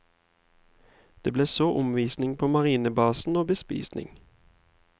Det blir så omvisning på marinebasen og bespisning.